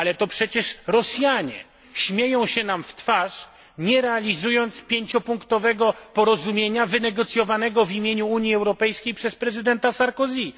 Ale to przecież Rosjanie śmieją się nam w twarz, nie realizując pięciopunktowego porozumienia wynegocjowanego w imieniu Unii Europejskiej przez prezydenta Sarkozy'ego.